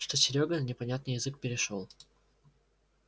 что серёга на непонятный язык перешёл